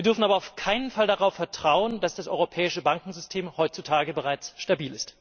Wir dürfen aber auf keinen Fall darauf vertrauen, dass das europäische Bankensystem heutzutage bereits stabil ist.